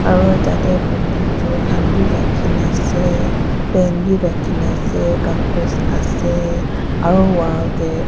aru tate computer khan bhi rakhina ase pen bhi rakhi na ase kakoz ase aru wall teh--